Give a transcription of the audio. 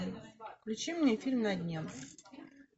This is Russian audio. включи мне фильм на дне